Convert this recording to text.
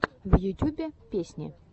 в ютюбе песни